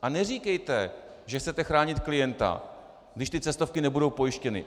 A neříkejte, že chcete chránit klienta, když ty cestovky nebudou pojištěny.